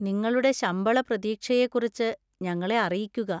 നിങ്ങളുടെ ശമ്പള പ്രതീക്ഷയെക്കുറിച്ച് ഞങ്ങളെ അറിയിക്കുക.